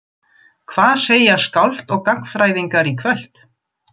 Hvað segja skáld og gagnfræðingar í kvöld?